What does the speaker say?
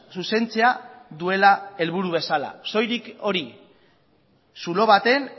zuzentzea duela helburu bezala soilik hori zulo baten